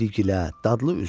İrigilə, dadlı üzüm.